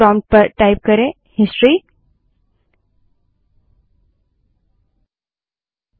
prompt में history type करें